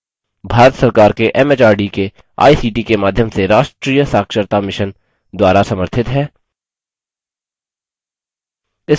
spoken tutorial project talktoateacher project का हिस्सा है भारत सरकार के एमएचआरडी के आईसीटी के माध्यम से राष्ट्रीय साक्षरता mission द्वारा समर्थित है